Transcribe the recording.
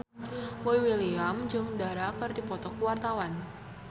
Boy William jeung Dara keur dipoto ku wartawan